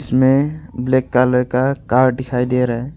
में black colour का car दिखाई दे रहा है।